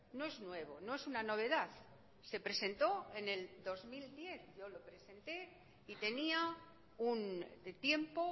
no es nuevo no es una novedad se presentó en el dos mil diez yo lo presenté y tenía un tiempo